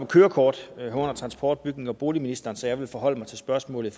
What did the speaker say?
kørekort hører under transport bygnings og boligministeren så jeg vil forholde mig til spørgsmålet